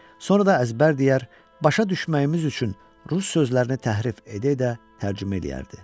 Sonra da əzbər deyər, başa düşməyimiz üçün rus sözlərini təhrif edə-edə tərcümə eləyərdi.